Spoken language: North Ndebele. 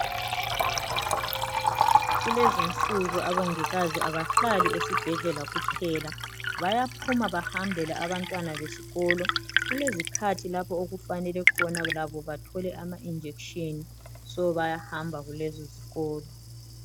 Kulezi nsuku abongikazi abahlali esibhedlela kuphela bayaphuma bahambele abantwana besikolo kulezikhathi lapho okufanele khona labo bathole ama injection so bayahamba kulezo zikolo